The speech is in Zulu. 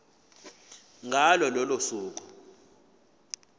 ngalo lolo suku